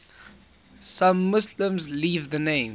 some muslims leave the name